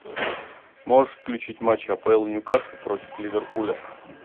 можешь включить матч апл ньюкасл против ливерпуля